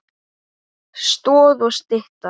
Stoð og stytta.